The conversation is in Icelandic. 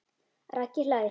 Raggi hlær.